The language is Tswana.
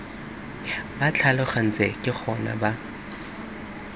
ba tlhalogantse ke gona ba